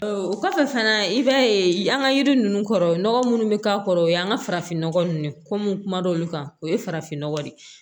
o kɔfɛ fana i b'a ye an ka yiri ninnu kɔrɔ nɔgɔ minnu bɛ k'a kɔrɔ o y'an ka farafinnɔgɔ ninnu komi kum'olu kan o ye farafinnɔgɔ de ye